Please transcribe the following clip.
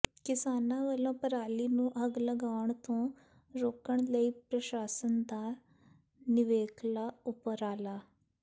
ਕਿਸਾਨਾਂ ਵਲੋਂ ਪਰਾਲੀ ਨੂੰ ਅੱਗ ਲਗਾਉਣ ਤੋਂ ਰੋਕਣ ਲਈ ਪ੍ਰਸ਼ਾਸਨ ਦਾ ਨਿਵੇਕਲਾ ਉਪਰਾਲਾ